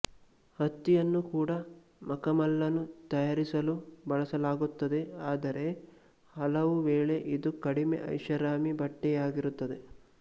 ಹತ್ತಿಯನ್ನು ಕೂಡ ಮಕಮಲ್ಲನ್ನು ತಯಾರಿಸಲು ಬಳಸಲಾಗುತ್ತದೆ ಆದರೆ ಹಲವುವೇಳೆ ಇದು ಕಡಿಮೆ ಐಷಾರಾಮಿ ಬಟ್ಟೆಯಾಗಿರುತ್ತದೆ